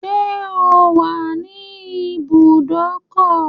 Ṣẹ́ o wà ní ibùdókọ̀?